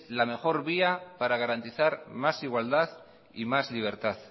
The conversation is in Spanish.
la mejor vía para garantizar más igualdad y más libertad